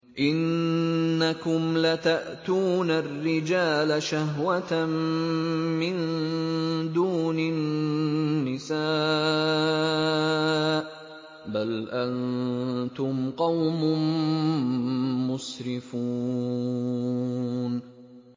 إِنَّكُمْ لَتَأْتُونَ الرِّجَالَ شَهْوَةً مِّن دُونِ النِّسَاءِ ۚ بَلْ أَنتُمْ قَوْمٌ مُّسْرِفُونَ